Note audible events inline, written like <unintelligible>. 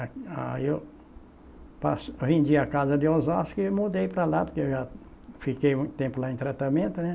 <unintelligible> Aí eu pas, vendi a casa de Osasco e mudei para lá, porque eu já fiquei muito tempo lá em tratamento, né?